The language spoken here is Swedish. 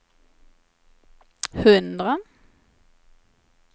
hundra